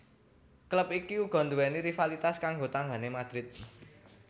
Klub iki uga nduwèni rivalitas karo tanggané Real Madrid